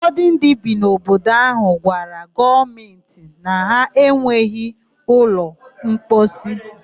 Ufọdụ ndị bi n'obodo áhụ̀ gwara gọọmentị na ha enweghị ụlọmposi.